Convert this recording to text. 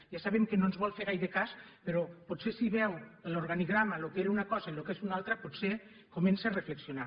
ja sabem que no ens vol fer gaire cas però potser si veu l’organigrama el que era una cosa i el que és una altra potser comença a reflexionar